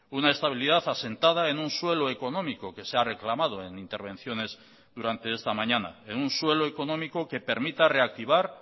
una estabilidad asentada en un suelo económico que se ha reclamado en intervenciones durante esta mañana en un suelo económico que permita reactivar